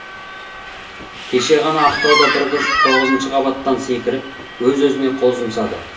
кеше ғана ақтауда бір қыз тоғызыншы қабаттан секіріп өз өзіне қол жұмсады